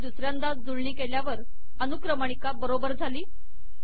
मी याची दुसऱ्यांदा जुळणी केल्यावर अनुक्रमणिका बरोबर झाली